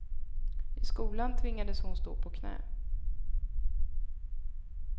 I skolan tvingades hon stå på knä.